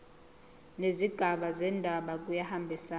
nezigaba zendaba kuyahambisana